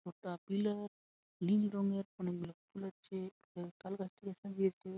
একটা পিলার নীল রঙের অনেক গুলা আছে ।